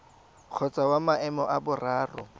kgotsa wa maemo a boraro